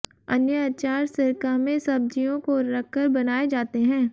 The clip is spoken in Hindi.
अन्य अचार सिरका में सब्जियों को रखकर बनाए जाते हैं